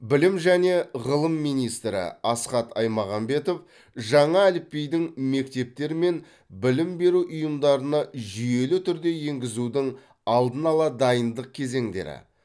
білім және ғылым министрі асхат аймағамбетов жаңа әліпбидің мектептер мен білім беру ұйымдарына жүйелі түрде енгізудің алдын ала дайындық кезеңдері